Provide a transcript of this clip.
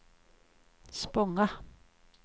Spånga